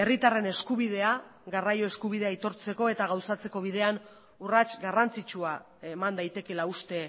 herritarren eskubidea garraio eskubidea aitortzeko eta gauzatzeko bidean urrats garrantzitsua eman daitekeela uste